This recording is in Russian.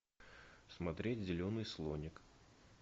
смотреть зеленый слоник